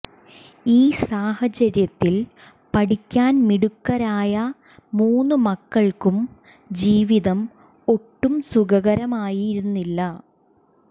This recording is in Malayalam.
ഈ സാഹചര്യത്തിൽ പഠിക്കാൻ മിടുക്കരായ മൂന്നു മക്കൾക്കും ജീവിതം ഒട്ടും സുഖകരമായിരുന്നില്ല